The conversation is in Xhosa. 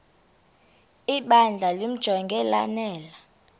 ibandla limjonge lanele